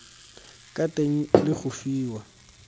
ka teng le go fiwa